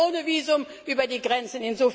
Sie kommen ohne Visum über die Grenzen.